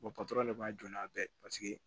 de b'a jɔ n'a bɛɛ ye paseke